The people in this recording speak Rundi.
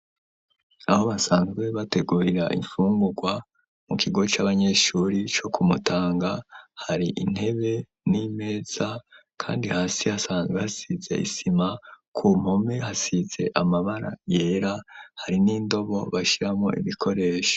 Aho basanzwe bategurira imfungurwa mu kigo c'abanyeshure co ku Mutanga, hari intebe n'imeza kandi hasi hasanzwe hasize isima, ku mpome hasize amabara yera, hari n'indobo bashiramwo ibikoresho.